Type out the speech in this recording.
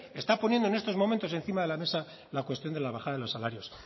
está poniendo en estos momentos encima de la mesa la cuestión de la bajada de los salarios